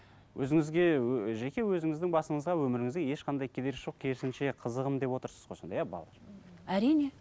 өзіңізге жеке өзіңіздің басыңызға өміріңізге ешқандай кедергісі жоқ керісінше қызығым деп отырсыз ғой сонда иә балалар әрине